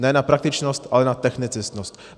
Ne na praktičnost, ale na technicistnost.